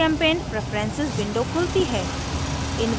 gchempaint preferences window खुलती है